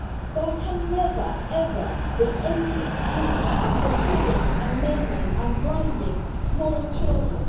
There can never ever be any excuse for killing, maiming and blinding small children.